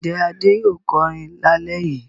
Ǹjẹ́ Adé yóò kọrin lálẹ́ yìí?